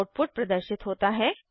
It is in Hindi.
आउटपुट प्रदर्शित होता है